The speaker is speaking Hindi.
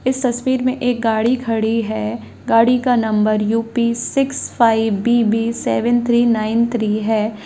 इस तस्वीर में एक गाड़ी खड़ी है गाड़ी का number UP. Six five BB. Seven three nine three है।